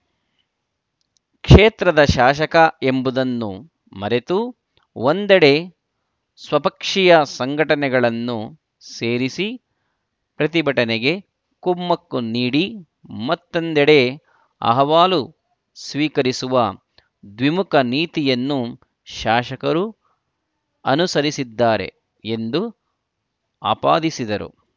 ಕ್ಷೇತ್ರದ ಶಾಸಕ ಎಂಬುದನ್ನು ಮರೆತು ಒಂದೆಡೆ ಸ್ವಪಕ್ಷೀಯ ಸಂಘಟನೆಗಳನ್ನು ಸೇರಿಸಿ ಪ್ರತಿಭಟನೆಗೆ ಕುಮ್ಮಕ್ಕು ನೀಡಿ ಮತ್ತೊಂದೆಡೆ ಅಹವಾಲು ಸ್ವೀಕರಿಸುವ ದ್ವಿಮುಖ ನೀತಿಯನ್ನು ಶಾಸಕರು ಅನುಸರಿಸಿದ್ದಾರೆ ಎಂದು ಆಪಾದಿಸಿದರು